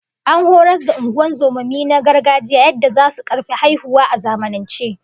An horas da ungozomomi na gargajiya yadda zasu karfi haihuwa a zamanance